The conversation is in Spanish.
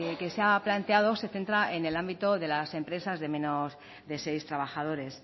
que se ha planteado se centra en el ámbito de las empresas de menos de seis trabajadores